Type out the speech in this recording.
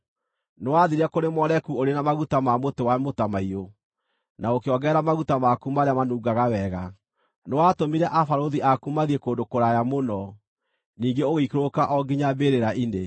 Nĩwathiire kũrĩ Moleku ũrĩ na maguta ma mũtĩ wa mũtamaiyũ, na ũkĩongerera maguta maku marĩa manungaga wega. Nĩwatũmire abarũthi aku mathiĩ kũndũ kũraya mũno; ningĩ ũgĩikũrũka o nginya mbĩrĩra-inĩ!